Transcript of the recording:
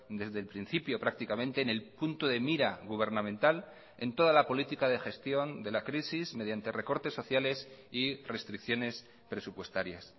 desde el principio prácticamente en el punto de mira gubernamental en toda la política de gestión de la crisis mediante recortes sociales y restricciones presupuestarias